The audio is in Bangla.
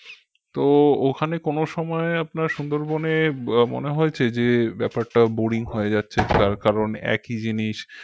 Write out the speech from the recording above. তো ওখানে কোন সময় আপনার সুন্দরবনে মনে হয়েছে যে ব্যাপারটা boring হয়ে যাচ্ছে যার কারণ একই জিনিস